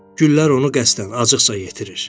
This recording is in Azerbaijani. Güllər onu qəsdən acıqca yetirir.